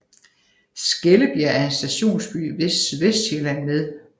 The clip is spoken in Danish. Skellebjerg er en stationsby i Sydvestsjælland med